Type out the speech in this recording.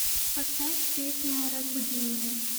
поставь песня разбуди меня